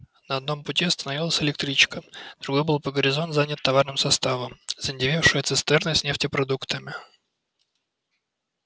на одном пути остановилась электричка другой был по горизонт занят товарным составом заиндевевшие цистерны с нефтепродуктами